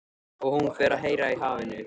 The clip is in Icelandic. Og hún fer að heyra í hafinu.